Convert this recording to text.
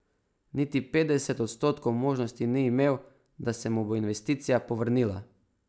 Niti petdeset odstotkov možnosti ni imel, da se mu bo investicija povrnila.